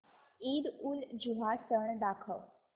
ईदउलजुहा सण दाखव